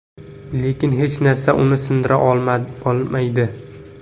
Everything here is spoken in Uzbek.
Lekin hech narsa uni sindira olmaydi.